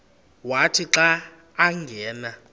wathi xa angena